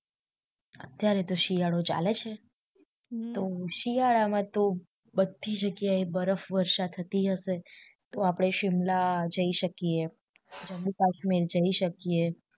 અત્યારે તો શિયાળો ચાલે છે તો શિયાળા માં તો બધી જગ્યા એ બરફવર્ષા થતી જ હશે તો આપડે શિમલા જય શકીએ જમ્મુ કાશ્મીર જય શકિયે